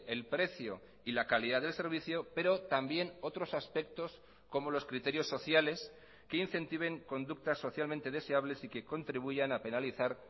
el precio y la calidad del servicio pero también otros aspectos como los criterios sociales que incentiven conductas socialmente deseables y que contribuyan a penalizar